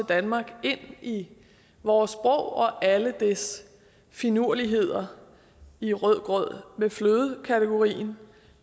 danmark ind i vores sprog og alle dets finurligheder i rødgrød med fløde kategorien